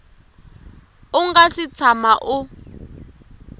u nga si tshama u